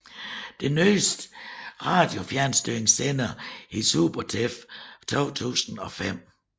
Den nyeste radiofjernstyringssender hedder Supertef 2005